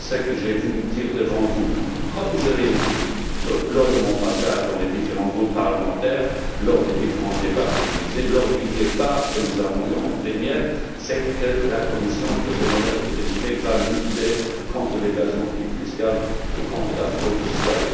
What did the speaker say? Ce que j'ai voulu dire devant vous comme je l'ai dit lors de mon passage dans les différents groupes parlementaires, lors des différents débats télévisés, lors du débat que nous avons eu en plénière c'est que la Commission que j'ai l'honneur de présider va lutter contre l'évasion fiscale et contre la fraude fiscale.